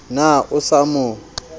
na ha o sa mo